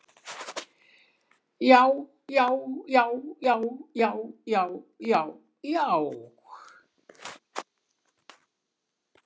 JÁ, JÁ, JÁ, JÁ, JÁ, JÁ, JÁ, JÁ.